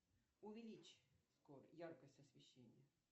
увеличь яркость освещения